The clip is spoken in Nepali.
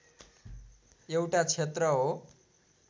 एउटा क्षेत्र हो